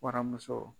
Waramuso